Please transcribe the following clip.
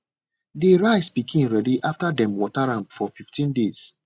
de rice pikin ready after dem water am for fifteen days